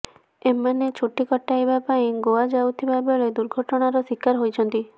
ଏମାନେ ଛୁଟି କଟାଇବା ପାଇଁ ଗୋଆ ଯାଉଥିବା ବେଳେ ଦୁର୍ଘଟଣାର ଶିକାର ହୋଇଛନ୍ତି